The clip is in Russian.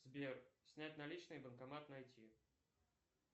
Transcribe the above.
сбер снять наличные банкомат найти